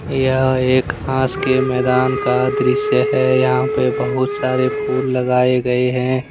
यह एक घास के मैदान का दृश्य है यहां पे बहुत सारे फूल लगाए गए हैं।